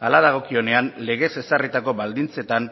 hala dagokionean legez ezarritako baldintzetan